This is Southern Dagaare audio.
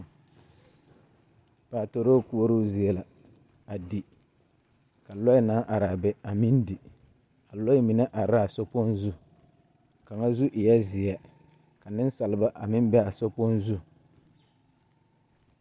Patoroo koɔroo zie la di, ka lɔɛ naŋ are a be a meŋ di. A lɔɛ mine are la a sokpoŋ zu. Kaŋa zu eɛ zeɛ. Ka nensalba a meŋ be a sokpoŋ zu.